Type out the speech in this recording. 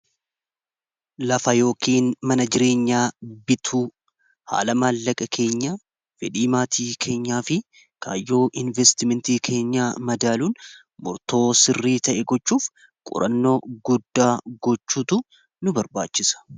Lafa yookiin mana jireenyaa bituu haala maallaqa keenya fedhii maatii keenyaa fi kaayyoo investimentii keenyaa madaaluun murtoo sirrii ta'e gochuuf qurannoo guddaa gochuutu nu barbaachisa.